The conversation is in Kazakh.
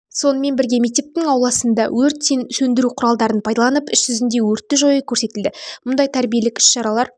сонымен бірге мектептің ауласында өрт сөндіру құралдарын пайдаланып іс жүзінде өртті жою көрсетілді мұндай тәрбиелік іс-шаралар